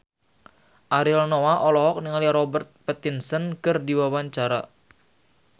Ariel Noah olohok ningali Robert Pattinson keur diwawancara